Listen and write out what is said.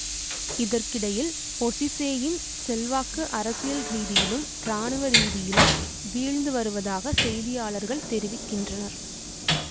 இதற்கிடையில் பொசீசேயின் செல்வாக்கு அரசியல் ரீதியிலும் இராணுவ ரீதியிலும் வீழ்ந்து வருவதாக செய்தியாளர்கள் தெரிவிக்கின்றனர்